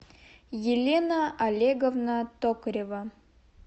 елена олеговна токарева